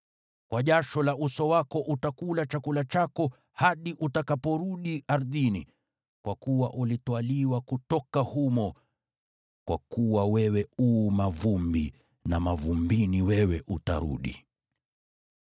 Kwa jasho la uso wako utakula chakula chako hadi utakaporudi ardhini, kwa kuwa ulitwaliwa kutoka humo, kwa kuwa wewe u mavumbi na mavumbini wewe utarudi.”